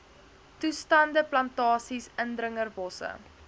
toestande plantasies indringerbosse